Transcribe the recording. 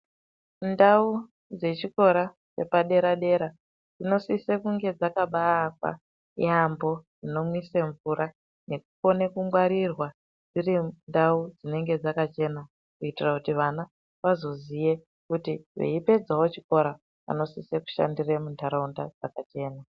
Ndau dzechikora dzepadera-dera dzinosise kunge dzakabaakwa yaambo zvinomwise mvura. Nechikone kungwarirwa dziri ndau dzinonga dzakachena. Kuitira kuti vana vazoziye kuti veipedzavo chikora vanosise kushandire muntaraunda dzakachena.